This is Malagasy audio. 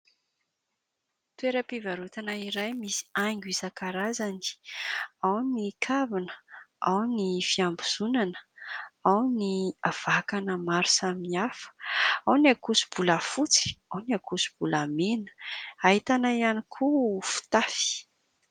Toera-pivarotana iray, misy haingo isankarazany: ao ny kavina, ao ny fiambozonana, ao ny vakana maro samy hafa, ao ny ankoso-bolafotsy, ao ny ankoso-bolamena. Ahitana hiany koa, fitafy.